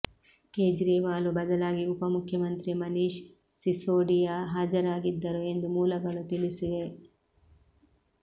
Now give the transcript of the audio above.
ಕೇಜ್ರಿವಾಲ್ ಬದಲಾಗಿ ಉಪ ಮುಖ್ಯಮಂತ್ರಿ ಮನೀಶ್ ಸಿಸೋಡಿಯಾ ಹಾಜರಾಗಿದ್ದರು ಎಂದು ಮೂಲಗಳು ತಿಳಿಸಿವೆ